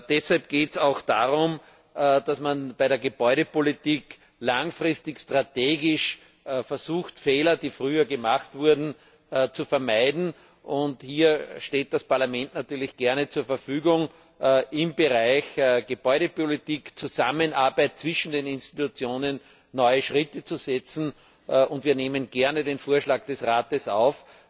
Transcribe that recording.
Deshalb geht es auch darum, dass man bei der Gebäudepolitik langfristig strategisch versucht, Fehler, die früher gemacht wurden, zu vermeiden. Hier steht das Parlament natürlich gerne zur Verfügung, im Bereich Gebäudepolitik in Zusammenarbeit zwischen den Institutionen neue Schritte zu setzen. Wir nehmen gerne den Vorschlag des Rates auf,